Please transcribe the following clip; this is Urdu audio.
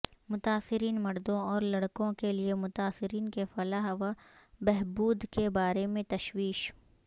متاثرین مردوں اور لڑکوں کے لئے متاثرین کے فلاح و بہبود کے بارے میں تشویش